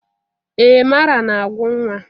Ee m ara na-agwụ nwa.